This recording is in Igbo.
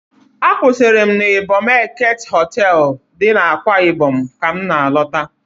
A kwụsịrị m n'Ịbọm Eket Họtelụ dị n'Akwa Ịbọm ka m na-alọta.